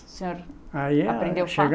O senhor. Aí é. Aprendeu fácil?